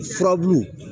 Furabulu